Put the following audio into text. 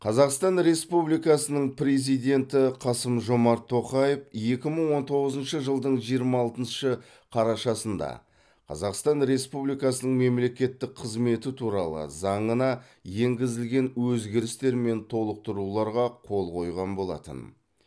қазақстан республикасының президенті қасым жомарт тоқаев екі мың он тоғызыншы жылдың жиырма алтыншы қарашасында қазақстан республикасының мемлекеттік қызметі туралы заңына енгізілген өзгерістер мен толықтыруларға қол қойған болатын